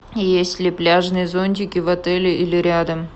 есть ли пляжные зонтики в отеле или рядом